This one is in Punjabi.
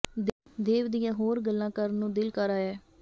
ਦੇਵ ਦੀਆਂ ਹੋਰ ਗੱਲਾਂ ਕਰਨ ਨੂੰ ਦਿਲ ਕਰ ਆਇਐ